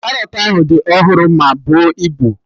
Karọt ahụ dị ọhụrụ ma buo ibu